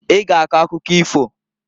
I g'a akọ akụkọ ifoǃ